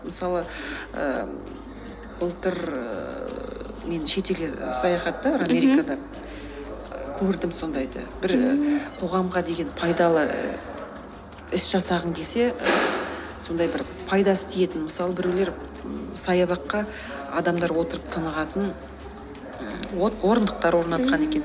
мысалы ііі былтыр ііі мен шетелге саяхатта америкада көрдім сондайды бір і қоғамға деген пайдалы іс жасағын келсе сондай бір пайдасы тиетін мысалы біреулер саябаққа адамдар отырып тыңығатын м орындықтар орнатқан екен